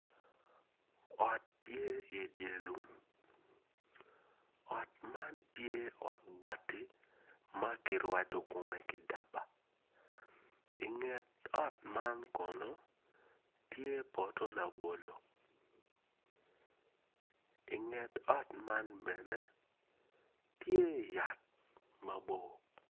Ot tye i dyer lum ot man tye ot bati makirwado kome ki daba inget ot man kono tye poto labolo inget ot man bene tye yat mabor.